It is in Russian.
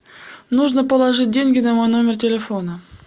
нужно положить деньги на мой номер телефона